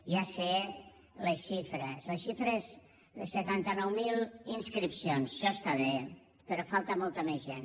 ja sé les xifres les xifres de setanta nou mil inscripcions això està bé però falta molta més gent